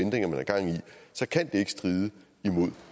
så kan det ikke stride imod